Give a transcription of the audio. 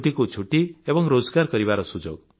ଛୁଟିକୁ ଛୁଟି ଏବଂ ରୋଜଗାର କରିବାର ସୁଯୋଗ